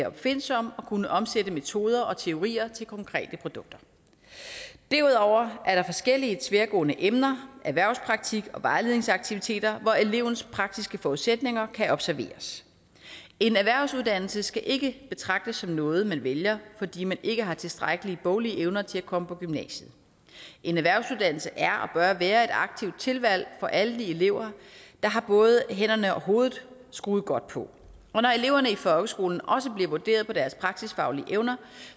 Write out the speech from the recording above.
opfindsom og kunne omsætte metoder og teorier til konkrete produkter derudover er der forskellige tværgående emner erhvervspraktik og vejledningaktiviteter hvor elevens praktiske forudsætninger kan observeres en erhvervsuddannelse skal ikke betragtes som noget man vælger fordi man ikke har tilstrækkelige boglige evner til at komme i gymnasiet en erhvervsuddannelse er og bør være et aktivt tilvalg for alle de elever der har både hænderne og hovedet skruet godt på og når eleverne i folkeskolen også bliver vurderet på deres praksisfaglige evner